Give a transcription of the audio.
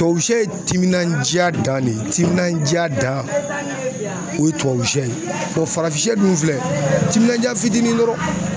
Tubabu sɛ ye timinandiya dan de ye, timinandiya dan .O ye tubabu sɛ ye farafin sɛ dun filɛ tininandiya fitinin dɔrɔn